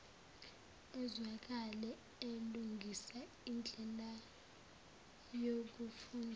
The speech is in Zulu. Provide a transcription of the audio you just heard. ezwakale elungisa indlelayokufunda